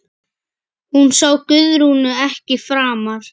Hún sá Guðrúnu ekki framar.